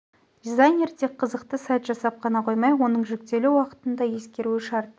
дизайнер тек қызықты сайт жасап қана қоймай оның жүктелу уақытын да ескеруі шарт